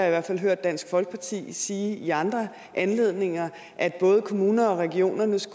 i hvert fald hørt dansk folkeparti sige i andre anledninger at både kommunernes og regionernes